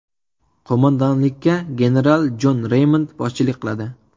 Qo‘mondonlikka general Jon Reymond boshchilik qiladi.